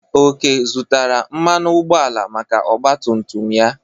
Oke zụtara mmanụ ụgbọala maka ọgba tum tum ya.